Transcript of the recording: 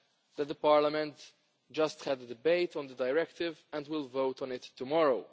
that Parliament has just had a debate on the directive and will vote on it tomorrow.